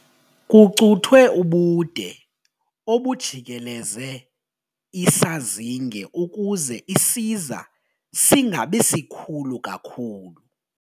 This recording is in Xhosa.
Kucuthwe ubude obujikeleze isazinge ukuze isiza singabi sikhulu kakhulu.